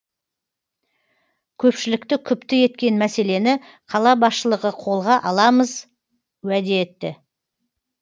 көпшілікті күпті еткен мәселені қала басшылығы қолға аламыз уәде етті